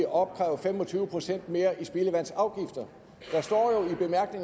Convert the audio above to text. opkræve fem og tyve procent mere i spildevandsafgifter